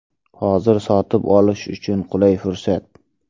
Hozir sotib olish uchun qulay fursat.